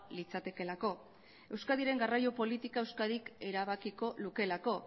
litzatekeelako euskadiren garraio politika euskadik erabakiko lukeelako